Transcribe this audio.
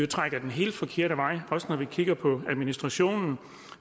trækker den helt forkerte vej når vi kigger på administrationen